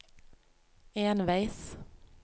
enveis